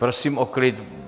Prosím o klid.